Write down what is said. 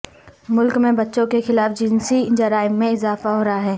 ملک میں بچوں کے خلاف جنسی جرائم میں اضافہ ہورہا ہے